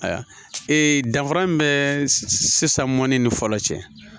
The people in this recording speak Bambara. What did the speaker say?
Ayiwa ee danfara min bɛ sisan mɔni ni fɔlɔ cɛ